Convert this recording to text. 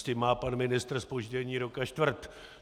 S tím má pan ministr zpoždění rok a čtvrt.